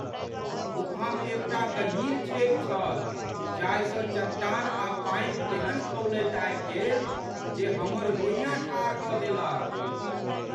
गुफामे एकटा गहींर छेद छल जाहिसँ चट्टान आ पानि तेहन खौलैत आबि गेल जे हमर रोइयाँ ठाढ़ कऽ देलक।